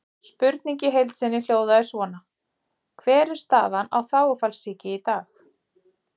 Spurningin í heild sinni hljóðaði svona: Hver er staðan á þágufallssýki í dag?